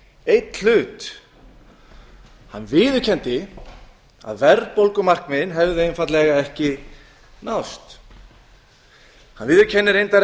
einn hlut hann viðurkenndi að verðbólgumarkmið hefði einfaldlega ekki náðst hann viðurkenndi reyndar